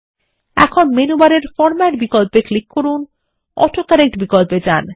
এখন মেনু বারের ফরমেট বিকল্প ক্লিক করুন অটো কারেক্ট বিকল্পে যান